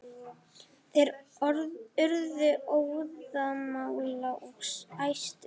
Þeir urðu óðamála og æstir.